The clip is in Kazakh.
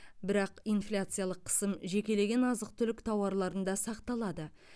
бірақ инфляциялық қысым жекелеген азық түлік тауарларында сақталады